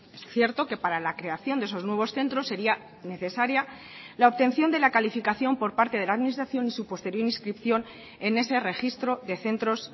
es cierto que para la creación de esos nuevos centros sería necesaria la obtención de la calificación por parte de la administración y su posterior inscripción en ese registro de centros